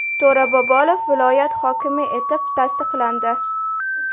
To‘ra Bobolov viloyat hokimi etib tasdiqlandi.